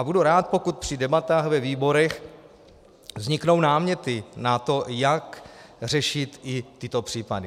A budu rád, pokud při debatách ve výborech vzniknou náměty na to, jak řešit i tyto případy.